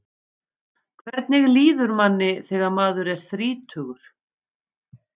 Hvernig líður manni þegar maður er þrítugur?